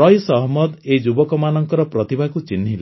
ରଇସ୍ ଅହମ୍ମଦ ଏଇ ଯୁବକମାନଙ୍କର ପ୍ରତିଭାକୁ ଚିହ୍ନିଲେ